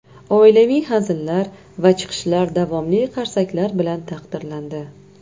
Oilaviy hazillar va chiqishlar davomli qarsaklar bilan taqdirlandi.